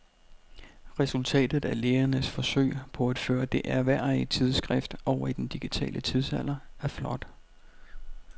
Resultatet af lægernes forsøg på at føre det ærværdige tidsskrift over i den digitale tidsalder er flot.